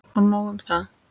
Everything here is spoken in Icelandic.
Og nóg um það.